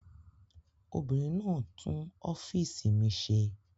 Obìnrin náà tún ọ́fíísì mi ṣe.